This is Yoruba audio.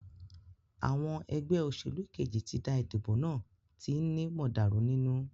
Àwọn egbé òsèlú Kejì tí dá ìdìbò náà tí ni mọ̀dàrú nínú.